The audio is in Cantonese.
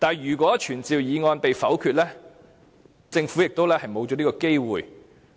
如果傳召議案被否決，政府也失去這個機會。